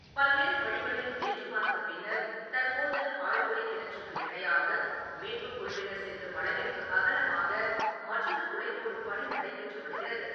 பல்வேறு வழிகளில் முயன்று பார்த்த பின்னர் தற்போது ஆழ்துளை கிணற்றுக்கு இணையாக மீட்புக் குழுவினர் செல்லும் அளவிற்கு அகலமாக மற்றொரு துளை போடும் பணி நடைபெற்று வருகிறது.